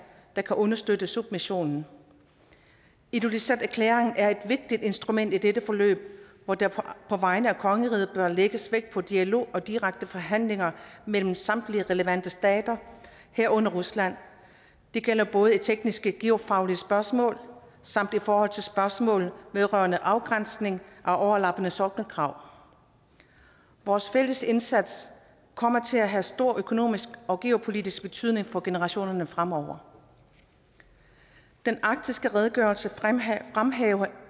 der kan understøtte submissionen ilulissaterklæringen er et vigtigt instrument i dette forløb hvor der på vegne af kongeriget bør lægges vægt på dialog og direkte forhandlinger mellem samtlige relevante stater herunder rusland det gælder både i tekniske geofaglige spørgsmål samt i forhold til spørgsmål vedrørende afgrænsning af overlappende sokkelkrav vores fælles indsats kommer til at have stor økonomisk og geopolitisk betydning for generationerne fremover den arktiske redegørelse fremhæver fremhæver